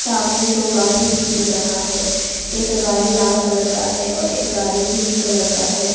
सामने दो गाड़ी भी दिख रहा है एक गाड़ी लाल कलर का है और एक गाड़ी ग्रीन कलर का है।